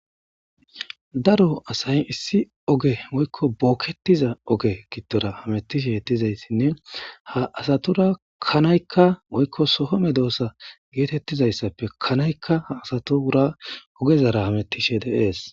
Daro asayi issi oge woykko bookketiza oge giddora hametishe dizayssinne ha asatura kanaykka woykko sohome doosa geetettizayssappe kanaykka ha asato wura ogezara hametishe dees.